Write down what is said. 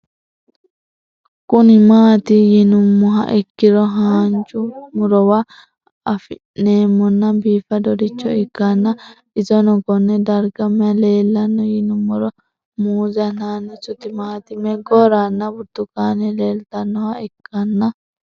Kuni mati yinumoha ikiro hanja murowa afine'mona bifadoricho ikana isino Kone darga mayi leelanno yinumaro muuze hanannisu timantime gooranna buurtukaane leelitoneha ikanna